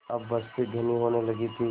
अब बस्ती घनी होने लगी थी